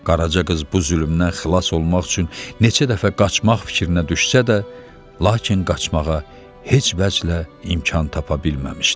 Qaraca qız bu zülmdən xilas olmaq üçün neçə dəfə qaçmaq fikrinə düşsə də, lakin qaçmağa heç vəclə imkan tapa bilməmişdi.